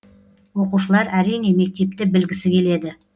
оқушылар әрине мектепті білгісі келеді